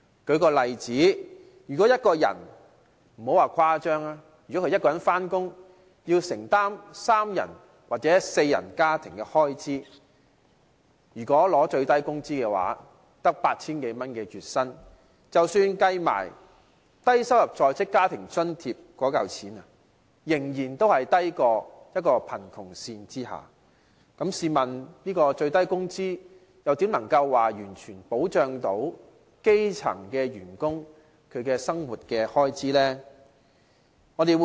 舉例來說，如果一個人工作要承擔三人或四人家庭的開支，領取最低工資月薪只有 8,000 多元，即使把低收入在職家庭津貼計算在內，仍處於貧窮線之下，試問最低工資怎能完全保障基層員工的生活開支？